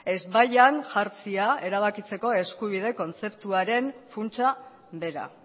ezbaian jartzea erabakitzeko eskubide kontzeptuaren funtsa bera